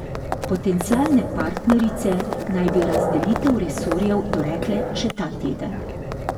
Potencialne partnerice naj bi razdelitev resorjev dorekle še ta teden.